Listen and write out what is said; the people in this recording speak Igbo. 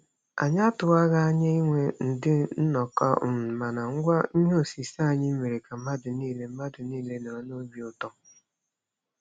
Anyị atụwaghị anya inwe ndị nnọkọ, um mana ngwa ihe osise anyị mere ka mmadụ niile mmadụ niile nọrọ n'obi ụtọ.